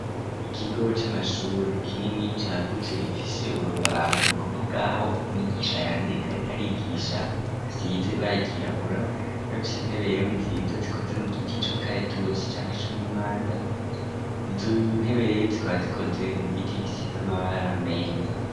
Ikigo c'amashure kinini cagutse, gifise urubaho ni kuvuga aho mwigisha yandika arika arigisha, hasize ibara ryirabura ,bafise intebe rero nziza zikoze mu giti cumukaretusi cangwa c'umumanda, izontebe rero zikora zikoze mu giti gisize amabara meza.